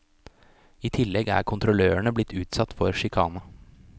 I tillegg er kontrollørene blitt utsatt for sjikane.